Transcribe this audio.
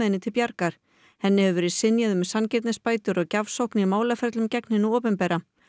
henni til bjargar henni hefur verið synjað um sanngirnisbætur og gjafsókn í málaferlum gegn hinu opinbera